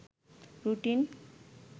routine